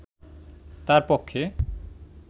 তার পক্ষে